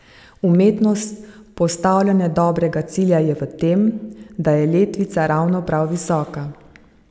Umetnost postavljanja dobrega cilja je v tem, da je letvica ravno prav visoka.